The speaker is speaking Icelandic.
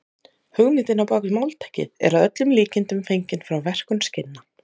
Hugmyndin á bak við máltækið er að öllum líkindum fengin frá verkun skinna.